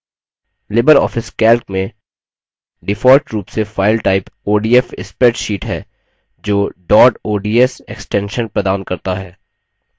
Libre office calc में default रूप से file type odf spreadsheet है जो dot ods extension प्रदान करता है